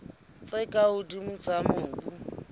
tse ka hodimo tsa mobu